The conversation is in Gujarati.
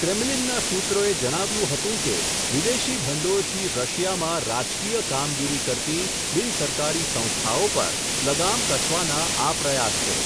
ક્રેમલિનના સૂત્રોએ જણાવ્યું હતું કે, વિદેશી ભંડોળથી રશિયામાં રાજકીય કામગીરી કરતી, બિનસરકારી સંસ્થાઓ પર, લગામ કસવાના આ પ્રયાસ છે.